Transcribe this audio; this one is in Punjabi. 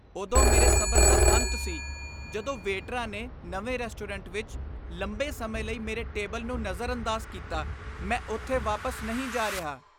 ਉਦੋਂ ਮੇਰੇ ਸਬਰ ਦਾ ਅੰਤ ਸੀ ਜਦੋਂ ਵੇਟਰਾਂ ਨੇ ਨਵੇਂ ਰੈਸਟੋਰੈਂਟ ਵਿੱਚ ਲੰਬੇ ਸਮੇਂ ਲਈ ਮੇਰੇ ਟੇਬਲ ਨੂੰ ਨਜ਼ਰਅੰਦਾਜ਼ ਕੀਤਾ। ਮੈਂ ਉੱਥੇ ਵਾਪਸ ਨਹੀਂ ਜਾ ਰਿਹਾ।